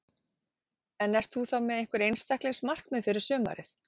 En ert þú þá með einhver einstaklings markmið fyrir sumarið?